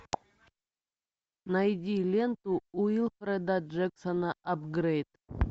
найди ленту уилфреда джексона апгрейд